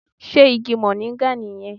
Sé Igi Mòríngà nì yẹn